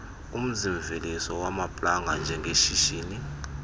umzimveliso wamaplanga njengeshishini